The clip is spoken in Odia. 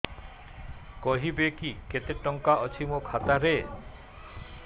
କହିବେକି କେତେ ଟଙ୍କା ଅଛି ମୋ ଖାତା ରେ